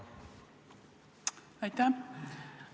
Aitäh!